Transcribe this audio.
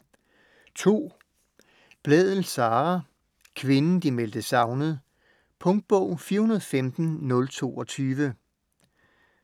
Blædel, Sara: Kvinden de meldte savnet Punktbog 415022